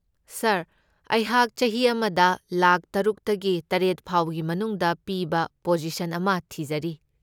ꯁꯥꯔ, ꯑꯩꯍꯥꯛ ꯆꯍꯤ ꯑꯃꯗ ꯂꯥꯈ ꯇꯔꯨꯛꯇꯒꯤ ꯇꯔꯦꯠ ꯐꯥꯎꯕꯒꯤ ꯃꯅꯨꯡꯗ ꯄꯤꯕ ꯄꯣꯖꯤꯁꯟ ꯑꯃ ꯊꯤꯖꯔꯤ꯫